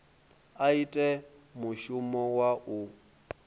a ite mushumo wa u